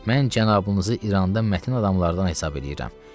Mən cənabınızı İranda mətin adamlardan hesab eləyirəm.